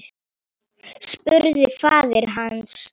spurði faðir hans.